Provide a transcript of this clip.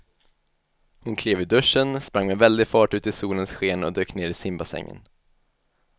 Hon klev ur duschen, sprang med väldig fart ut i solens sken och dök ner i simbassängen.